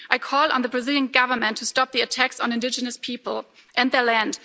I call on the Brazilian Government to stop the attacks on indigenous people and their land.